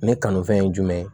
Ne kanufɛn ye jumɛn